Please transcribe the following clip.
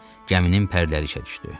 Gəminin pərləri işə düşdü.